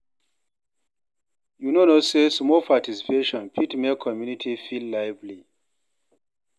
You no know sey small participation fit make community feel lively.